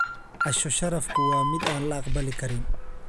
Casho-sharafku waa mid aan la aqbali karin.